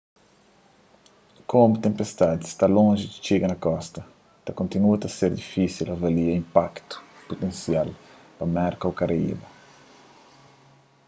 komu tenpestadi sta lonji di txiga na kosta ta kontinua ta ser difísil avalia inpaktu putensial pa merka ô karaiba